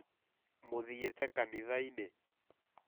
Mũthiĩte kanitha ĩnĩ ?